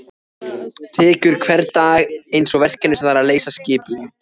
Tekur hvern dag einsog verkefni sem þarf að leysa skipulega.